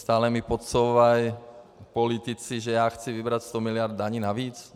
Stále mi podsouvají politici, že já chci vybrat 100 miliard daní navíc?